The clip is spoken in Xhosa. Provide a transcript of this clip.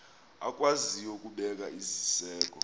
akwaziyo ukubeka iziseko